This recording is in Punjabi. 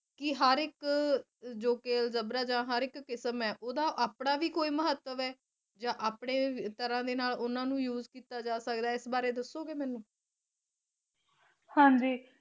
ਕਿ ਹਰ ਇਕ ਕਿ ਹਰ ਇਕ ਅਲਜਬਰਾ ਦਾ ਜ਼ੀਰਾ ਕਿਸਮ ਹੈ ਉਡਦੀ ਆਪਣੀ ਭੀ ਕੋਈ ਮਹੱਤਵ ਹੈ ਆ ਜੇ ਆਪਣੀ ਤਰ੍ਹਾਂ ਦੇ ਨਾਲ ਉਨ੍ਹਾਂ ਨੂੰ ਕਿੱਤਾ use ਕੀਤਾ ਜਾ ਸਕਦਾ ਹੈ ਇਸ ਬਾਰੇ ਚ ਦੱਸੋ ਗੇ ਮੈਨੂੰ ਹਨ ਜੀ